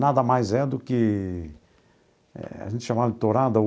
Nada mais é do que... A gente chamava de tourada.